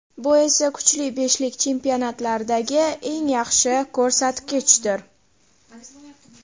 Bu esa kuchli beshlik chempionatlaridagi eng yaxshi ko‘rsatkichdir .